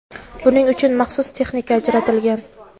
Buning uchun maxsus texnika ajratilgan.